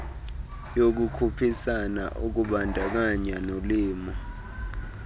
yokukhuphisana ukubandakanya nolimo